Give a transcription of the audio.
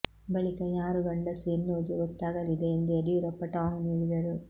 ಬಳಿಕ ಯಾರು ಗಂಡಸು ಎನ್ನುವುದು ಗೊತ್ತಾಗಲಿದೆ ಎಂದು ಯಡಿಯೂರಪ್ಪ ಟಾಂಗ್ ನೀಡಿದರು